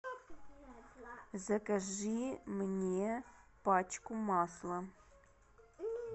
закажи мне пачку масла